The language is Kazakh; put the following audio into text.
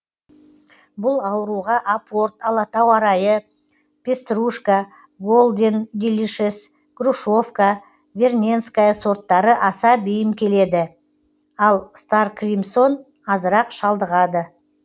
бұл ауруға апорт алатау арайы пеструшка голден делишес грушовка верненская сорттары аса бейім келеді ал старкримсон азырақ шалдығады